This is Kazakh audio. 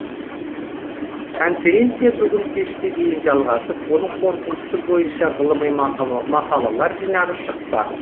конференция бүгін кешке дейін жалғасып оның қорытындысы бойынша ғылыми мақалалар жинағы шықпақ